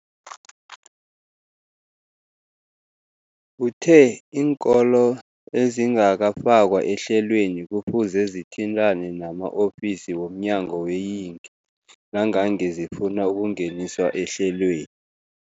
Uthe iinkolo ezingakafakwa ehlelweneli kufuze zithintane nama-ofisi wo mnyango weeyingi nangange zifuna ukungeniswa ehlelweni.